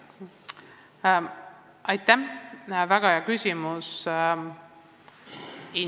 Aitäh, väga hea küsimus!